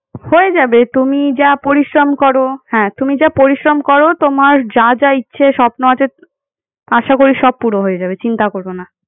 হয়ে যাবে তুমি যা পরিশ্রম করো হ্যাঁ তুমি যা পরিশ্রম করো তোমার যা যা ইচ্ছে স্বপ্ন আছে আশা করি সব পুরো হয়ে যাবে চিন্তা করো না।